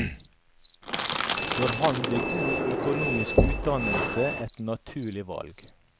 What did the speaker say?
For ham ble god økonomisk utdannelse et naturlig valg.